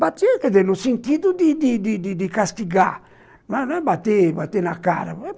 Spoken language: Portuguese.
Batiam, quer dizer, no sentido de de de de castigar, não é bater bater na cara.